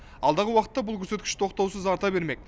алдағы уақытта бұл көрсеткіш тоқтаусыз арта бермек